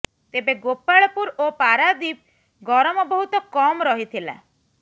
ତେବେ ଗୋପାଳପୁର ଓ ପାରାଦ୍ବୀପ ଗରମ ବହୁତ କମ୍ ରହିଥିଲା